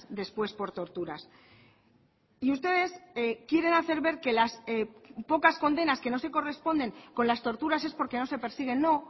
después por torturas y ustedes quieren hacer ver que las pocas condenas que no se corresponden con las torturas es porque no se persiguen no